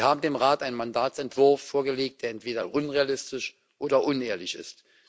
Sie haben dem Rat einen Mandatsentwurf vorgelegt, der entweder unrealistisch oder unehrlich ist.